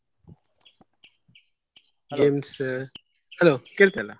Games hello ಕೇಳ್ತ ಇಲ್ಲ.